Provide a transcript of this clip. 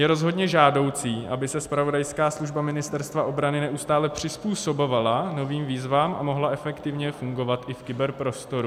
Je rozhodně žádoucí, aby se zpravodajská služba Ministerstva obrany neustále přizpůsobovala novým výzvám a mohla efektivně fungovat i v kyberprostoru.